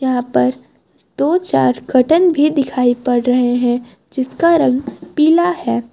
यहां पर दो चार कर्टन भी दिखाई पड़ रहे हैं जिसका रंग पीला है।